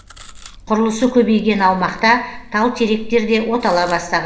құрылысы көбейген аумақта тал теректер де отала бастаған